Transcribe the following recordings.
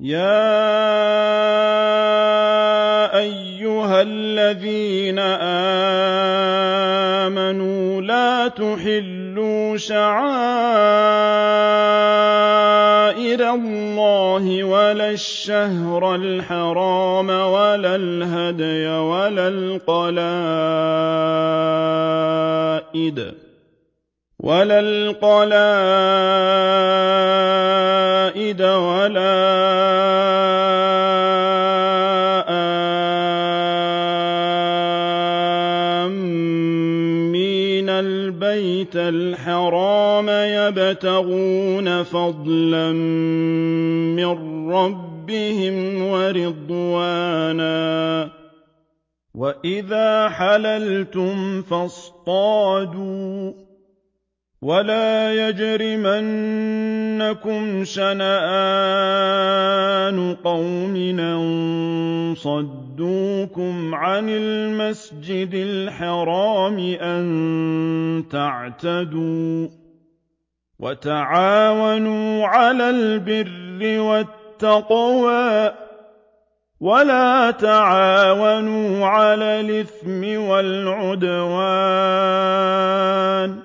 يَا أَيُّهَا الَّذِينَ آمَنُوا لَا تُحِلُّوا شَعَائِرَ اللَّهِ وَلَا الشَّهْرَ الْحَرَامَ وَلَا الْهَدْيَ وَلَا الْقَلَائِدَ وَلَا آمِّينَ الْبَيْتَ الْحَرَامَ يَبْتَغُونَ فَضْلًا مِّن رَّبِّهِمْ وَرِضْوَانًا ۚ وَإِذَا حَلَلْتُمْ فَاصْطَادُوا ۚ وَلَا يَجْرِمَنَّكُمْ شَنَآنُ قَوْمٍ أَن صَدُّوكُمْ عَنِ الْمَسْجِدِ الْحَرَامِ أَن تَعْتَدُوا ۘ وَتَعَاوَنُوا عَلَى الْبِرِّ وَالتَّقْوَىٰ ۖ وَلَا تَعَاوَنُوا عَلَى الْإِثْمِ وَالْعُدْوَانِ ۚ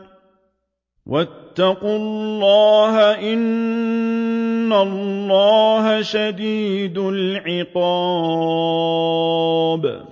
وَاتَّقُوا اللَّهَ ۖ إِنَّ اللَّهَ شَدِيدُ الْعِقَابِ